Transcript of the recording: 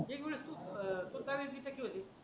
एक मिनिट तु स्वतरी जिते